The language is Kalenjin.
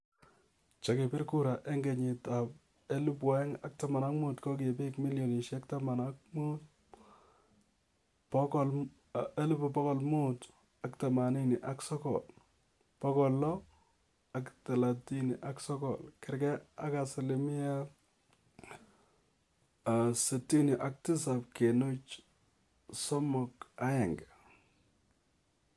Chekibiir kuura eng' kenyit ap 2015 ko piik 15,589,639 gergeei ak asilimiet 67.31